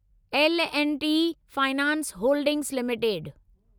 L and T finance holdings limited